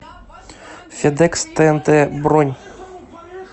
федекс тээнтэ бронь